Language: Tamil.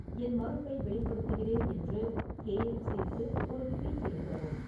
என் மறுப்பை வெளிப்படுத்துகிறேன் என்று கே. எஃப். சி க்கு ஒரு ட்வீட் எழுதவும்